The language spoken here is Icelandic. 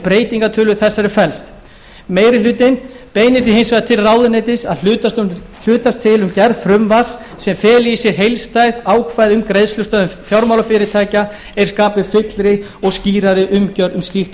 breytingartillögu þessari felast meiri hlutinn beinir því hins vegar til ráðuneytisins að hlutast til um gerð frumvarps sem feli í sér heildstæð ákvæði um greiðslustöðvun fjármálafyrirtækja er skapi fyllri og skýrari umgjörð um slíkt ástand